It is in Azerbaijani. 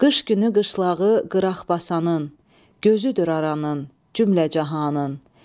Qış günü qışlağı qıraq basanın, gözüdür aranın, cümləcahanın.